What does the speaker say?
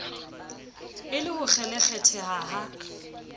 e le ho kgelekgetheha ha